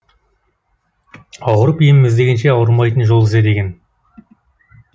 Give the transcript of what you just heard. ауырып ем іздегенше ауырмайтын жол ізде деген